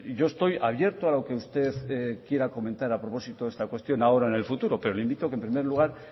yo estoy abierto a lo que usted quiera comentar a propósito de esta cuestión ahora o en el futuro pero le invito que en primer lugar